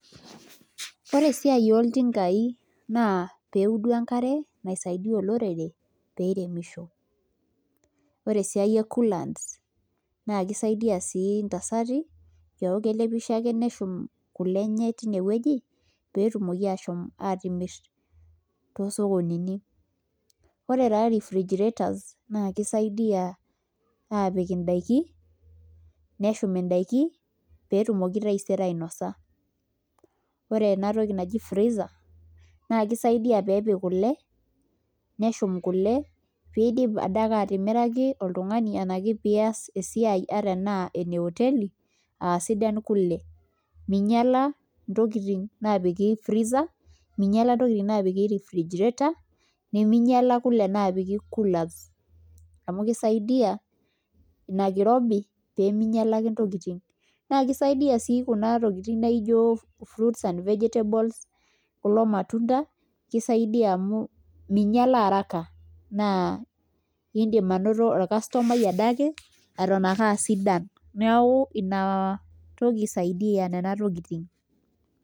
Ore esiai ooltingai naa pee eudu enkare naisaidia olorere pee iremisho ore esiai e coolants naa kisidia sii ntasati pee eeku kelepisho ake neshum kule enye tinewueji pee etumoki aashom aatimirr toosokonini ore taa refrigrators naa kisaidia aapik ndaiki neshum ndaiki pee etumoki taisere ainosa ore ena toki naki freezer naa kisaidia pee eik kule pee iidim adake atimiraki oltung'ani enashu pee iaas esiai ataa enaa ene oteli aa sidan kule minyiala ntokitin naapiki freezer minyiala ntokitin naapiki refrigrators neminyiala kule naapiki coolers amu kisiadia ina kirobi pee minyiala ake ntokitin naa kisaidia sii kuna tokitin naijio fruits and vegetables kulo matunda kisaidia amu minyiala araka naa iindim anoto orcustomai adake eton aa sidan neeku ina toki amu kisaidia nena tokitin.